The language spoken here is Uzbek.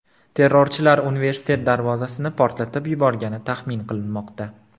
Terrorchilar universitet darvozasini portlatib yuborgani taxmin qilinmoqda.